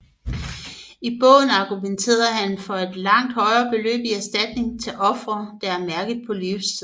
I bogen argumenterede han for et langt højere beløb i erstatning til ofre der er mærket på livstid